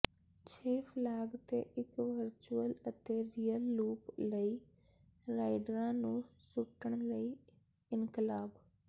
ਛੇ ਫਲੈਗ ਤੇ ਇੱਕ ਵਰਚੁਅਲ ਅਤੇ ਰੀਅਲ ਲੂਪ ਲਈ ਰਾਈਡਰਾਂ ਨੂੰ ਸੁੱਟਣ ਲਈ ਇਨਕਲਾਬ